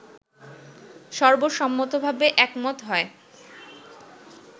সর্বসম্মতভাবে একমত হয়